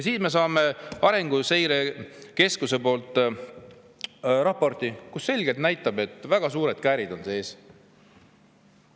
Siis me saame Arenguseire Keskuse raporti, mis selgelt näitab, et väga suured käärid on sees.